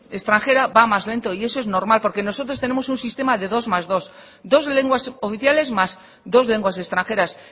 extranjera va más lento y eso es normal porque nosotros tenemos un sistema de dos más dos dos lenguas oficiales más dos lenguas extranjeras